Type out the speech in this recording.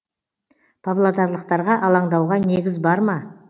павлодарлықтарға алаңдауға негіз бар ма